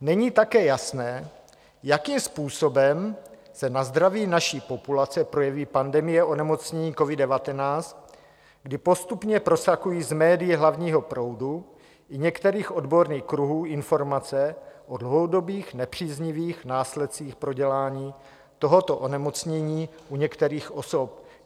Není také jasné, jakým způsobem se na zdraví naší populace projeví pandemie onemocnění covid-19, kdy postupně prosakují z médií hlavního proudu i některých odborných kruhů informace o dlouhodobých nepříznivých následcích prodělání tohoto onemocnění u některých osob.